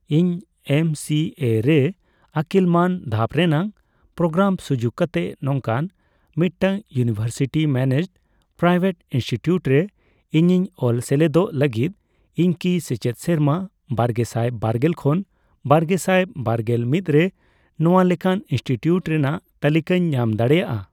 ᱤᱧ ᱮᱢᱥᱤᱮ ᱨᱮ ᱟᱹᱠᱤᱞ ᱢᱟᱱ ᱫᱷᱟᱯ ᱨᱮᱱᱟᱜ ᱯᱨᱳᱜᱨᱟᱢ ᱥᱩᱡᱩᱠ ᱠᱟᱛᱮ ᱱᱚᱝᱠᱟᱱ ᱢᱤᱫᱴᱟᱝ ᱤᱭᱩᱱᱤᱵᱷᱟᱨᱥᱤᱴᱤ ᱢᱮᱱᱮᱡᱰᱼᱯᱨᱟᱭᱵᱷᱮᱴ ᱤᱱᱥᱴᱤᱴᱤᱭᱩᱴ ᱨᱮ ᱤᱧᱤᱧ ᱚᱞ ᱥᱮᱞᱮᱫᱚᱜ ᱞᱟᱹᱜᱤᱫ, ᱤᱧᱠᱤ ᱥᱮᱪᱮᱫ ᱥᱮᱨᱢᱟ ᱵᱟᱨᱜᱮᱥᱟᱭ ᱵᱟᱨᱜᱮᱞ ᱠᱷᱚᱱ ᱵᱟᱨᱜᱮᱥᱟᱭ ᱵᱟᱨᱜᱮᱞ ᱢᱤᱫ ᱨᱮ ᱱᱚᱣᱟ ᱞᱮᱠᱟᱱ ᱤᱱᱥᱴᱤᱴᱤᱭᱩᱴ ᱨᱮᱱᱟᱜ ᱛᱟᱞᱤᱠᱟᱧ ᱧᱟᱢ ᱫᱟᱲᱮᱭᱟᱜᱼᱟ ?